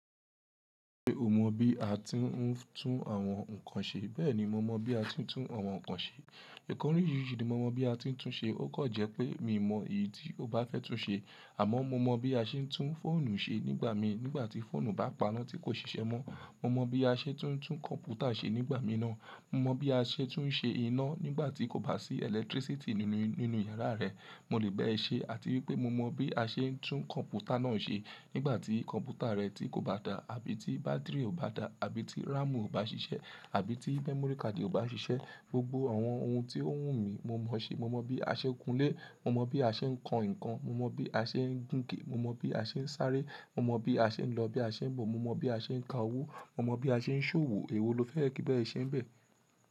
Ṣé o mọ bí a ti ń tún àwọn nǹkan ṣe? Bẹ́ẹ̀ni, mo mọ bí a ti ń tún àwọn nǹkan ṣe. Ìkànnì oríṣiríṣi ni mo mọ bí a ti ń tún ṣe. Ó kọ̀ jẹ́ pé mi ò mọ èyí tí o bá fẹ́ tún ṣe. Àmọ́ mo mọ bí a ṣe ń tún fóònù ṣe nígbà mi nígbà tí fóònù bá paná tí kò ṣiṣẹ́ mọ́. Mo mọ bí a ṣe tún kọ̀m̀pútà ṣe nígbà mí náà. Mo mọ bí a ṣe tún ṣe iná nígbà tí kò bá sí ẹlẹ́tírísítì nínú, nínú yàrá rẹ. Mo lè bẹ́ẹ̀ ṣe àti wípé mo mọ bí a ṣe ń tún kọ̀m̀pútà náà ṣe nígbà tí kọ̀m̀pútà rẹ tí kò bá dá àbí tí bátìrì ò bá dá àbí tí RAM ò bá ṣiṣẹ́ àbí tí mémòrí káàdì ò bá ṣiṣẹ́. Gbogbo àwọn ohun tí ó wù mí mo mọ ṣe. Mo mọ bí a ṣe ń kunlé, mo mọ bí a ṣe ń kan nǹkan, mo mọ bí a ṣe ń gunke, mo mọ bí a ṣe ń sáré, mo mọ bí a ṣe ń lọ, bí a ṣe ń bọ̀, mo mọ bí a ṣe ń ka owó, mo mọ bí a ṣe ń ṣòwò. Èwo lo fẹ́ẹ̀ kí n bá ẹ̀ ṣe bẹ̀?